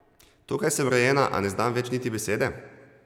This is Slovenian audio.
Tukaj sem rojena, a ne znam več niti besede?